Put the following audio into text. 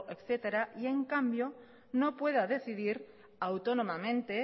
etcétera y en cambio no pueda decidir autónomamente